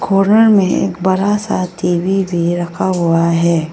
कोरार में एक बड़ा सा टी_वी भी रखा हुआ है।